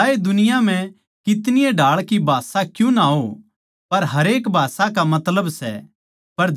भलाए दुनिया म्ह कितनी ए ढाळ की भाषां क्यूँ ना हों पर हरेक भाषा का मतलब सै